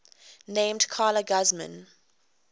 named carla guzman